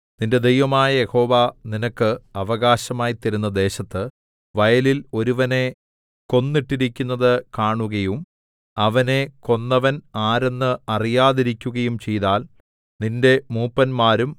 നിന്റെ ദൈവമായ യഹോവ നിനക്ക് അവകാശമായി തരുന്ന ദേശത്ത് വയലിൽ ഒരുവനെ കൊന്നിട്ടിരിക്കുന്നത് കാണുകയും അവനെ കൊന്നവൻ ആരെന്ന് അറിയാതിരിക്കുകയും ചെയ്താൽ നിന്റെ മൂപ്പന്മാരും